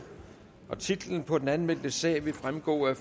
titlen på den anmeldte sag vil fremgå af